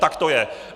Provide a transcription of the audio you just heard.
Tak to je!